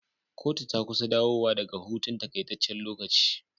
Kotu ta kusa dawo wa daka hutun takaitaccen lokaci